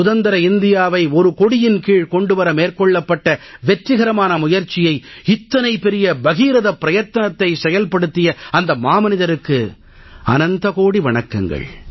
சுதந்திர இந்தியாவை ஒரு கொடியின் கீழ் கொண்டு வர மேற்கொள்ளப்பட்ட வெற்றிகரமான முயற்சியை இத்தனை பெரிய பகீரதப் பிரயத்தனத்தை செயல்படுத்திய அந்த மாமனிதருக்கு அனந்த கோடி வணக்கங்கள்